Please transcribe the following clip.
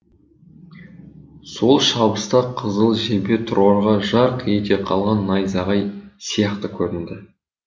сол шабыста қызыл жебе тұрарға жарқ ете қалған найзағай сияқты көрінді